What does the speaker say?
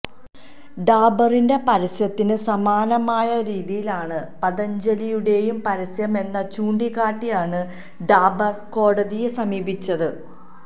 ഡാബറിന്റെ പരസ്യത്തിന് സമാനമായ രീതിയിലാണ് പതജ്ഞലിയുടെയും പരസ്യമെന്ന് ചൂണ്ടിക്കാട്ടിയാണ് ഡാബര് കോടതിയെ സമീപിച്ചത്